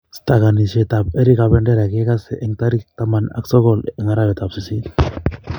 Stakanishet ap eric kabendera kegasei tarik taman ak sogol eng arawet ap sisit